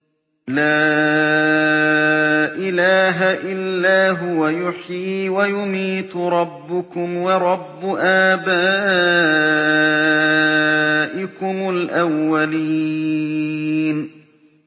لَا إِلَٰهَ إِلَّا هُوَ يُحْيِي وَيُمِيتُ ۖ رَبُّكُمْ وَرَبُّ آبَائِكُمُ الْأَوَّلِينَ